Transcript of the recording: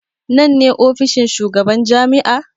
Nan ne ofishin shugaban jami'a?